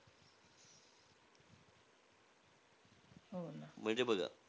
म्हणजे बघा.